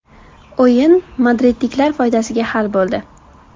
O‘yin madridliklar foydasiga hal bo‘ldi.